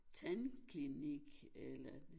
Tandklinik eller